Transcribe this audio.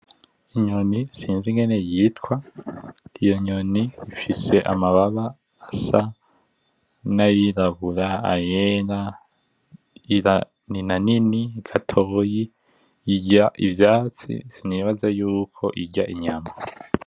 Inyoni sinzi ingene yitwa iyonyoni ifise amababa asa n'ayirabura ,ayera ninanini gatoyi irya ivyatsi sinibaza yuko irya inyama.